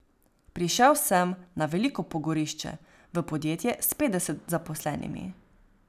Prišel sem na veliko pogorišče, v podjetje s petdeset zaposlenimi.